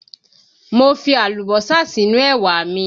Mo fi Àlùbọ́sà sínú ẹwà mi